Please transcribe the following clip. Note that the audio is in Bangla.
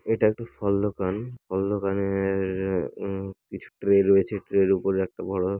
এটা একটি ফল দোকান ফল দোকানের আ- কিছু ট্রে রয়েছে ট্রে এর ওপরে একটি বড়ো --